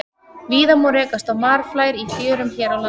Víða má rekast á marflær í fjörum hér á landi.